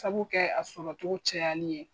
Sabu kɛ a sɔrɔ cogo cayali ye.